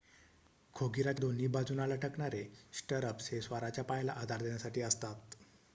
खोगिराच्या दोन्ही बाजूंना लटकणारे स्टरअप्स हे स्वाराच्या पायाला आधार देण्यासाठी असतात